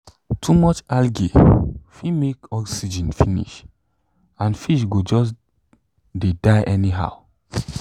too much algae fit make oxygen finishand fish go just de die anyhow